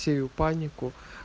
сею панику